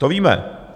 To víme.